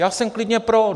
Já jsem klidně pro!